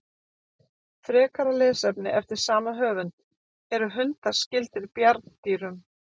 Frekara lesefni eftir sama höfund: Eru hundar skyldir bjarndýrum?